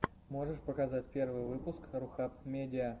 можешь показать первый выпуск рухаб медиа